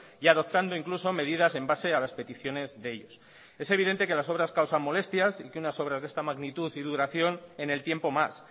y adoptando incluso medidas en base a las peticiones de ellos es evidente que las obras causan molestias y que unas obras de esta magnitud y duración en el tiempo más